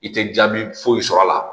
I tɛ jaabi foyi sɔr'a la